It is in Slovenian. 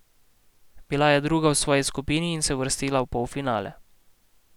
Bila je druga v svoji skupini in se uvrstila v polfinale.